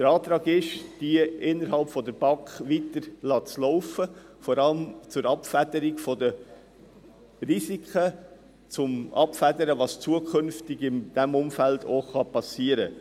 Der Antrag ist, sie innerhalb der BAK weiterlaufen zu lassen, vor allem zur Abfederung der Risiken und zur Abfederung dessen, was zukünftig in diesem Umfeld geschehen kann.